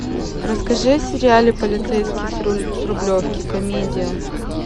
расскажи о сериале полицейский с рублевки комедия